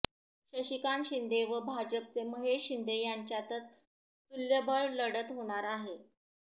शशिकांत शिंदे व भाजपचे महेश शिंदे यांच्यातच तुल्यबळ लढत होणार आहे